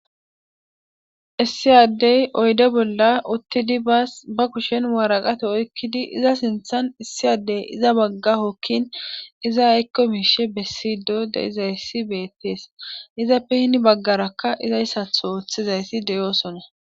Iss Adey basa ba kushen waraqata oykid issi Adey iza sinthani iza Baga hokin iza ayko mishe besido de'izaysi betes, izappe hen bagaraka aizatho othiza asati de'osona.